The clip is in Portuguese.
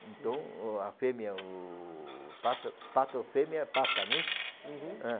Então, a fêmea, o pato, pato, fêmea, pata, não é isso? Uhum. É.